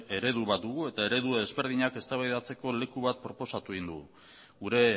eredu bat dugu eta eredu ezberdinak eztabaidatzeko leku bat proposatu egin dugu gure